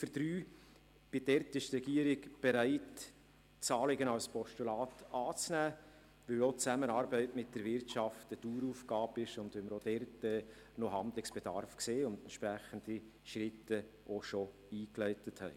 Zu Ziffer 3: Dort ist die Regierung bereit, das Anliegen als Postulat anzunehmen, weil die Zusammenarbeit mit der Wirtschaft eine Daueraufgabe ist und wir dort weiteren Handlungsbedarf sehen und entsprechende Schritte auch bereits eingeleitet haben.